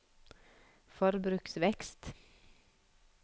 forbruksvekst